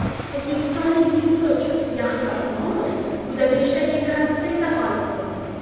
O‘zbekistonlik dzyudochi Yahyo Imomov Budapeshtdagi Gran-prida g‘olib bo‘ldi.